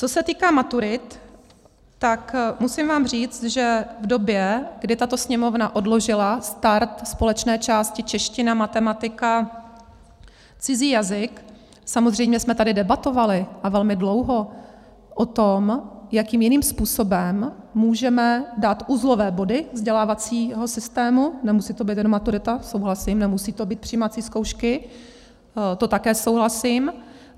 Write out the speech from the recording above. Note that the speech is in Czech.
Co se týká maturit, tak vám musím říct, že v době, kdy tato Sněmovna odložila start společné části čeština, matematika, cizí jazyk, samozřejmě jsme tady debatovali, a velmi dlouho, o tom, jakým jiným způsobem můžeme dát uzlové body vzdělávacího systému, nemusí to být jenom maturita, souhlasím, nemusí to být přijímací zkoušky, to také souhlasím.